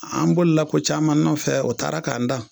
An bolila ko caman nɔfɛ o taara k'an dan.